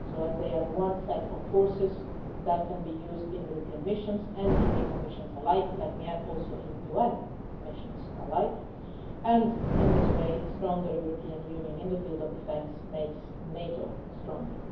They have one set of forces that can be used in European missions and in NATO missions alike and let me also add in UN missions and in this way, a stronger European Union in the field of defence makes NATO stronger.